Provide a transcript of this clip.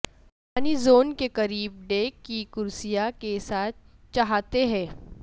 پانی زون کے قریب ڈیک کی کرسیاں کے ساتھ چھاتے ہیں